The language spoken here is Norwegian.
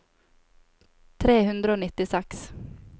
tre hundre og nittiseks